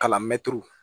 Kalan mɛtiri